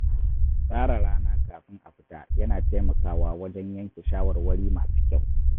Tsara rana kafin a fita yana taimakawa wajen yanke shawarwari masu kyau.